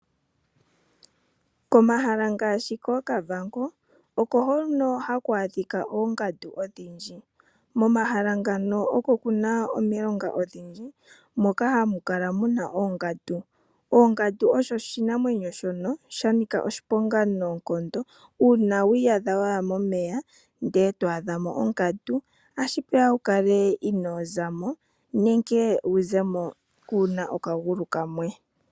Komahala ngaashi koKavango o ko hono haku a dhika oongandu odhindji. Momahala ngano o ko ku na omilonga odhindji moka hamu kala mu na oongandu. Ongandu osho oshinamwenyo shoka sha nika oshiponga noonkondo uuna wi iyadha wa ya momeya ndele to a dha mo ongandu ohashi pe ya wu kale inoo za mo nenge wu ze mo kuuna okagulu kamwe.